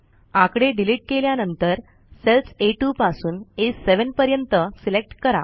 आकडे डिलिट केल्यानंतर सेल्स आ2 पासून आ7 पर्यंत सिलेक्ट करा